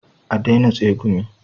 A daina tsegumi